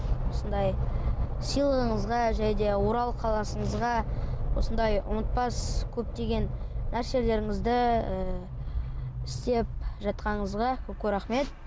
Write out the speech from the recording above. осындай сыйлығыңызға және де орал осындай ұмытпас көптеген нәрселеріңізді ыыы істеп жатқаныңызға көп көп рахмет